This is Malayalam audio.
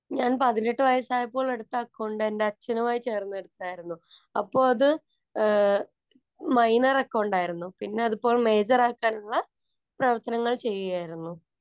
ഞാന്‍ പതിനെട്ടു വയസായപ്പോള്‍ എടുത്ത അക്കൗണ്ട്‌ എന്‍റെ അച്ഛനുമായി ചേര്‍ന്ന് എടുത്താരുന്നു. അപ്പൊ അത് മൈനര്‍ അക്കൗണ്ട്‌ ആരുന്നു. പിന്നെ അത് ഇപ്പോൾ മേജര്‍ ആക്കാനുള്ള പ്രവര്‍ത്തനങ്ങള്‍ ചെയ്യുകയായിരുന്നു.